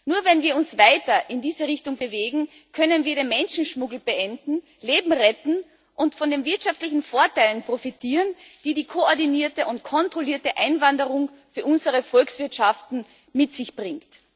Nur wenn wir uns weiter in diese Richtung bewegen, können wir den Menschenschmuggel beenden, Leben retten und von den wirtschaftlichen Vorteilen profitieren, die die koordinierte und kontrollierte Einwanderung für unsere Volkswirtschaften mit sich bringt.